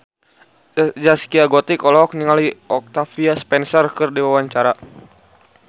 Zaskia Gotik olohok ningali Octavia Spencer keur diwawancara